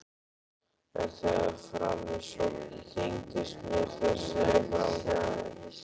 En þegar fram í sótti þyngdist mér þessi framkvæmd.